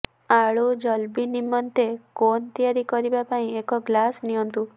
ଆଳୁ ଜଲେବି ନିମନ୍ତେ କୋନ ତିଆରି କରିବା ପାଇଁ ଏକ ଗ୍ଲାସ ନିଅନ୍ତୁ